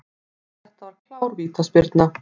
Þetta var klár vítaspyrna.